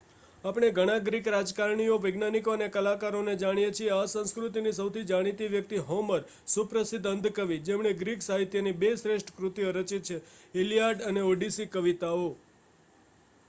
આપણે ઘણા ગ્રીક રાજકારણીઓ વૈજ્ઞાનિકો અને કલાકારોને જાણીએ છીએ. આ સંસ્કૃતિની સૌથી જાણીતી વ્યક્તિ હોમર, સુપ્રસિદ્ધ અંધ કવિ જેમણે ગ્રીક સાહિત્યની બે શ્રેષ્ઠ કૃતિઓ રચિત છે: ઇલિયાડ અને ઓડિસી કવિતાઓ